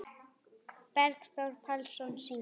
Bergþór Pálsson syngur.